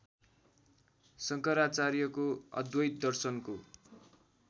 शङ्कराचार्यको अद्वैत दर्शनको